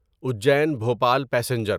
Ujjain Bhopal passenger